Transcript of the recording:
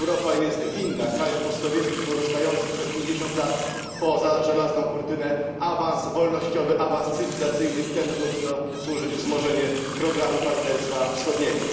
Europa jest winna krajom post sowieckim pozostającym przez 50 lat poza żelazną kurtyną awans wolnościowy, awans cywilizacyjny, i temu powinno służyć wzmożenie programu partnerstwa wschodniego.